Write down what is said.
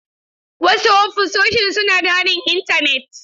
Wasu ofisoshin suna da haɗin Intanet.